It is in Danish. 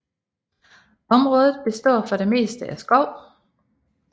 Området består for det meste af skov